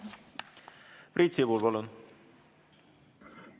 Priit Sibul, palun!